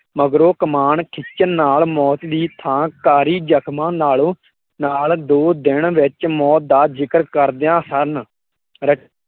ਮਗਰੋਂ ਕਮਾਣ ਖਿੱਚਣ ਨਾਲ ਮੌਤ ਦੀ ਥਾ ਕਾਰੀ ਜਖਮਾਂ ਨਾਲੋਂ ਨਾਲ ਦੋ ਦਿਨ ਵਿੱਚ ਮੌਤ ਦਾ ਜ਼ਿਕਰ ਕਰਦਇਆ ਹਨ